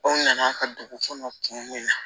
Aw nana ka dugu kɔnɔ kun ye